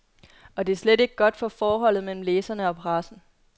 Og det er slet ikke godt for forholdet mellem læserne og pressen.